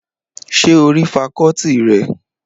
Ṣé o rí fakọ́ọ́tì rẹ̀?